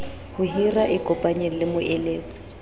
ho hira ikopanyeng le moeletsi